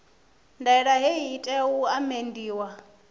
ndaela hei i tea u amendiwa